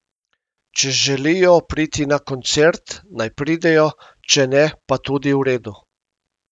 Če želijo priti na koncert, naj pridejo, če ne, pa tudi v redu.